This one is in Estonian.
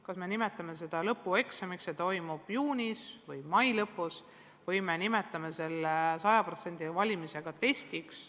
Kas me nimetame seda lõpueksamiks ja see toimub juunis või mai lõpus, või me nimetame selle sajaprotsendise valimiga testiks.